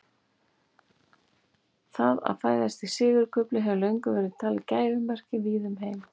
Það að fæðast í sigurkufli hefur löngum verið talið gæfumerki víða um heim.